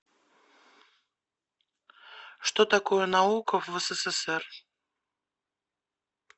что такое наука в ссср